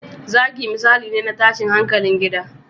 Zagi misali ne na tashin hankalin gida